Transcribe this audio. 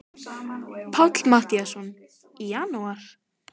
Páll Matthíasson: Í janúar?